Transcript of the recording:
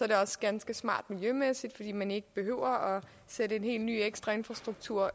det også ganske smart miljømæssigt fordi man ikke behøver at sætte en helt ny og ekstra infrastruktur